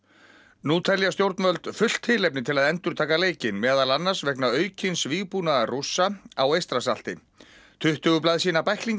nú telja stjórnvöld fullt tilefni til að endurtaka leikinn meðal annars vegna aukins vígbúnaðar Rússa á Eystrasalti tuttugu blaðsíðna bæklingi